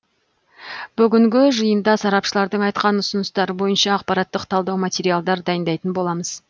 бүгінгі жиында сарапшылардың айтқан ұсыныстары бойынша ақпараттық талдау материалдар дайындайтын боламыз